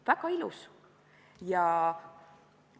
" Väga ilus!